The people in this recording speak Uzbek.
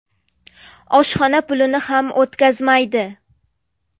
Oshxona pulini ham o‘tkazmaydi.